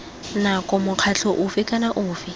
nako mokgatlho ofe kana ofe